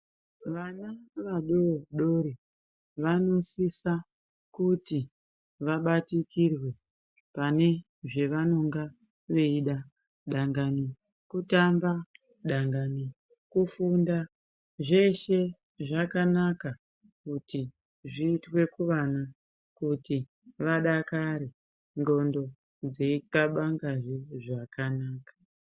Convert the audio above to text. Vana vadodori vanosisa kuti vabatikirwe pane zvavanonga veida dangani kutanga, dangani kufunda. Zveshe zvakanaka kuti zviitwe kuvana kuti vadakare ndxondo dzei thabangazve zvakanaka.